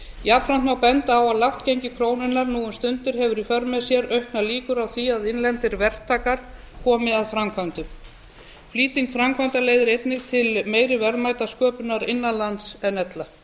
jafnframt má benda á að lágt gengi krónunnar nú um stundir hefur í för með sér auknar líkur á því að innlendir verktakar komi að framkvæmdum flýting framkvæmda leiðir einnig til meiri verðmætasköpunar innan lands en ella